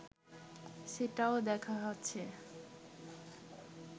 সেটাও দেখা হচ্ছে